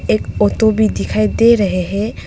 एक ऑटो भी दिखाई दे रहे है।